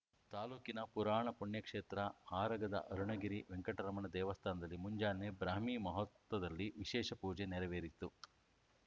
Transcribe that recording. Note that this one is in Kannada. ತಾಲೂಕಿನ ಪುರಾಣ ಪುಣ್ಯಕ್ಷೇತ್ರ ಆರಗದ ಅರುಣಗಿರಿ ವೆಂಕಟರಮಣ ದೇವಸ್ಥಾನದಲ್ಲಿ ಮುಂಜಾನೆ ಬ್ರಾಹ್ಮೀ ಮುಹೂರ್ತದಲ್ಲಿ ವಿಶೇಷ ಪೂಜೆ ನೆರವೇರಿತು